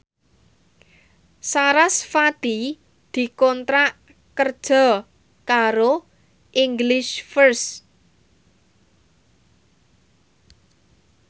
sarasvati dikontrak kerja karo English First